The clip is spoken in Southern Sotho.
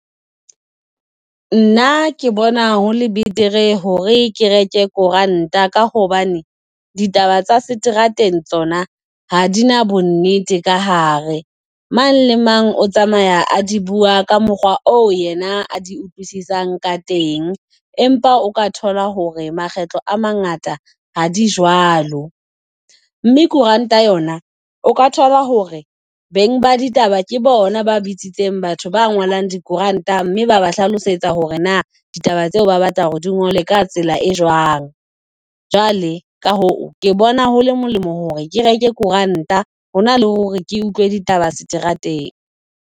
Nna ke bona hole betere hore ke reke koranta, ka hobane ditaba tsa seterateng tsona ha di na bonnete ka hare. Mang le mang o tsamaya a di bua ka mokgwa oo yena a di utlwisisang ka teng. Empa o ka thola hore makgetlo a mangata ha di jwalo, mme koranta yona o ka thola hore beng ba ditaba ke bona ba bitsitseng batho ba ngolang dikoranta, mme ba ba hlalosetsa hore na ditaba tseo ba batla hore di ngolwe ka tsela e jwang. Jwale ka hoo, ke bona hole molemo hore ke reke korant-a ho na le hore ke utlwe ditaba seterateng.